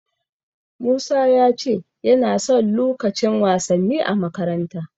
Musa ya ce yana son lukacin wasanni a makaranta.